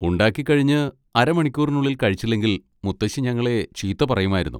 ഉണ്ടാക്കിക്കഴിഞ്ഞ് അര മണിക്കൂറിനുള്ളിൽ കഴിച്ചില്ലെങ്കിൽ മുത്തശ്ശി ഞങ്ങളെ ചീത്ത പറയുമായിരുന്നു.